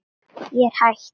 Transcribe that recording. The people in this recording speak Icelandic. Ég er hætt.